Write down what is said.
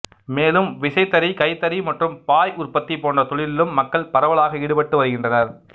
மேலும் விசைத்தறி கைத்தறி மற்றும் பாய் உற்பத்தி போன்ற தொழிலிலும் மக்கள் பரவலாக ஈடுபட்டு வருகின்றனர்